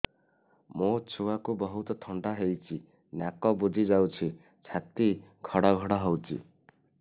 ମୋ ଛୁଆକୁ ବହୁତ ଥଣ୍ଡା ହେଇଚି ନାକ ବୁଜି ଯାଉଛି ଛାତି ଘଡ ଘଡ ହଉଚି